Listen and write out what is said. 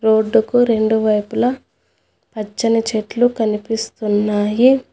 Road కు రెండు వైపులా పచ్చని చెట్లు కనిపిస్తున్నాయి.